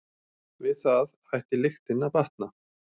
Við það ætti lyktin að batna.